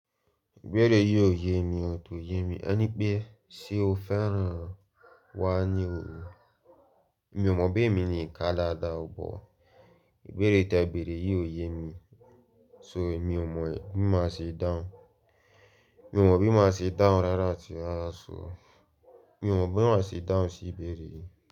Ìbéèrè yìí ò yé mi, ò tò yé mi. Ẹ ní pé, ṣe o fẹ́ràn wá ní òru? Mi ò mọ bí èmi ni ìka dáadáa, bọ̀ ìbéèrè te bèèré yìí ò yé mi. So mi ò mọ̀ bí máa ṣe dahun mi ò mọ̀ bí máa ṣe dahun rárá atí rara sọ, mi ò mọ̀ bí máa ṣe dahun sí ìbéèrè yìí.